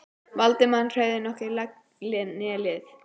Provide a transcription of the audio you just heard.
Valdimar hreyfði hvorki legg né lið.